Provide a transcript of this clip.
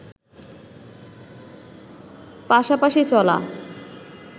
পাশপাশি চলা